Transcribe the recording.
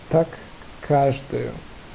так каждую